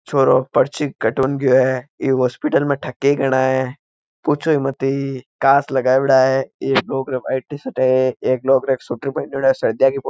छोरो पर्ची कटानो गया है एक हॉस्पिटल में ठगे ही घणा है पूछो मत काच लगाओड़ा है एक लोगो ने व्हाइट टीशर्ट है एक ने स्वेटर पहना है सर्दियों की फोटो है।